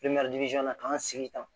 ka n sigi tan